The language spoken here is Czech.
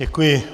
Děkuji.